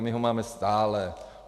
A my ho máme stále.